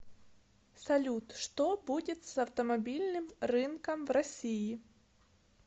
салют что будет с автомобильным рынком в россии